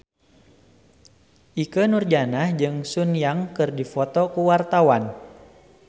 Ikke Nurjanah jeung Sun Yang keur dipoto ku wartawan